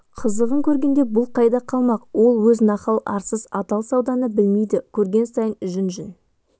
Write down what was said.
қызығын көргенде бұл қайда қалмақ ол өз нахал арсыз адал сауданы білмейді көрген сайын жүн-жүн